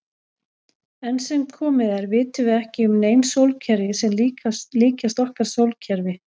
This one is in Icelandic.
Enn sem komið er vitum við ekki um nein sólkerfi sem líkjast okkar sólkerfi.